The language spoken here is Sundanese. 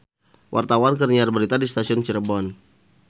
Wartawan keur nyiar berita di Stasiun Cirebon